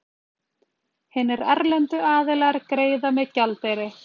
hinir erlendu aðilar greiða með gjaldeyri